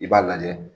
I b'a lajɛ